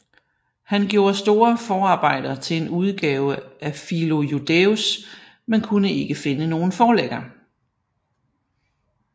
Han gjorde store forarbejder til en udgave af Philo Judæus men kunde ikke finde nogen forlægger